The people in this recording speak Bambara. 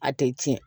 A tɛ tiɲɛ